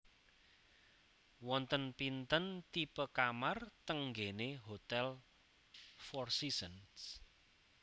Wonten pinten tipe kamar teng nggene Hotel Four Seasons